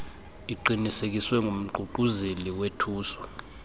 iqinisekiswe ngumququzeleli wethuso